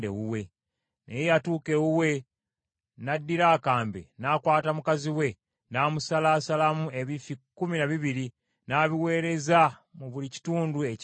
Bwe yatuuka ewuwe, n’addira akambe, n’akwata mukazi we, n’amusalaasalamu ebifi kkumi na bibiri, n’abiweereza mu buli kitundu ekya Isirayiri.